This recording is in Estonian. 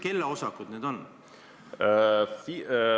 Kelle osakud need on?